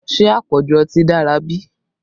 Ṣé àpọ̀jù ọtí dára bí?